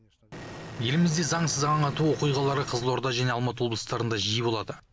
елімізде заңсыз аң ату оқиғалары қызылорда және алматы облыстарында жиі болады